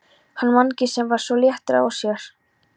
Hann Mangi sem var svo léttur á sér.